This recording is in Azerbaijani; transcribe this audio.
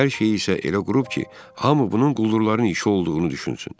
Hər şeyi isə elə qurub ki, hamı bunun quldurların işi olduğunu düşünsün.